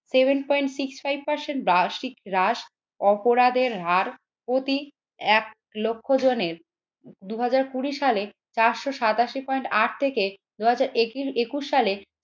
seven point six five percent বার্ষিক হ্রাস অপরাধের হার প্রতি এক লক্ষ জনের দুই হাজার কুড়ি সালে চারশো সাতাশি পয়েন্ট আট থেকে দুই হাজার এ একুশ সালে